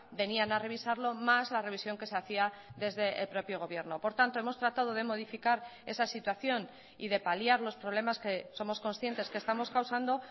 venían a revisarlo más la revisión que se hacía desde el propio gobierno por tanto hemos tratado de modificar esa situación y de paliar los problemas que somos conscientes que estamos causando